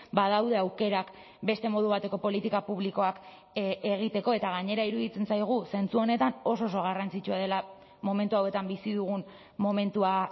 badaude aukerak beste modu bateko politika publikoak egiteko eta gainera iruditzen zaigu zentzu honetan oso oso garrantzitsua dela momentu hauetan bizi dugun momentua